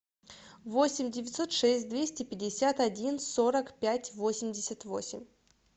восемь девятьсот шесть двести пятьдесят один сорок пять восемьдесят восемь